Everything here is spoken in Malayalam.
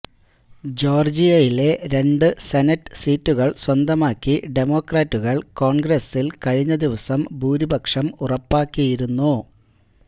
ജോർജിയയിലെ രണ്ട് സെനറ്റ് സീറ്റുകൾ സ്വന്തമാക്കി ഡെമോക്രാറ്റുകൾ കോൺഗ്രസിൽ കഴിഞ്ഞദിവസം ഭൂരിപക്ഷം ഉറപ്പാക്കിയിരുന്നു